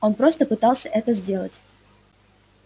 он просто пытался это сделать